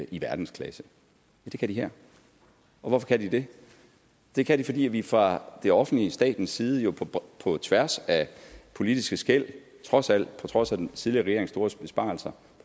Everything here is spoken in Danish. i verdensklasse det kan de her og hvorfor kan de det det kan de fordi vi fra det offentliges statens side jo på tværs af politiske skel trods alt på trods af den tidligere regerings store besparelser